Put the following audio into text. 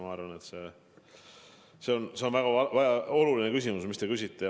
Ma arvan, et see on väga oluline küsimus, mida te küsite.